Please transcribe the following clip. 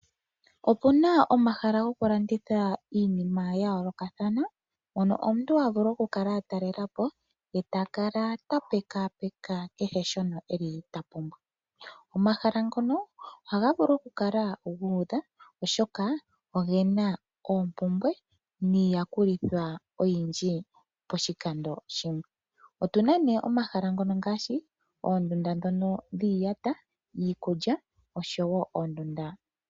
Opuna omahala gokulanditha iinima ya yoolokathana mono omuntu havulu oku kala a talelapo e takala ta pekapeka kehe shimwe eli tavulu. Omahala ngono ohaga vulu okukala gu udha oshoka ogena oompumbwe niiyakulithwa oyindji poshikando shimwe . Otuna nee omahala ngono ngaashi oondunda dhono dhiiyata, iikulya oshowo oondunda.